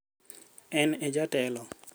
En ejatelo.